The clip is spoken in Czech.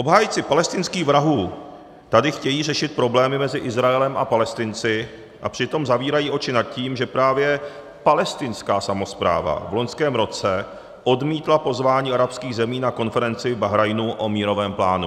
Obhájci palestinských vrahů tady chtějí řešit problémy mezi Izraelem a Palestinci a přitom zavírají oči nad tím, že právě palestinská samospráva v loňském roce odmítla pozvání arabských zemí na konferenci v Bahrajnu o mírovém plánu.